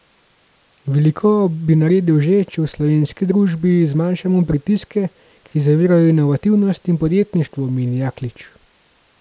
Veliko bi naredili že, če v slovenski družbi zmanjšamo pritiske, ki zavirajo inovativnost in podjetništvo, meni Jaklič.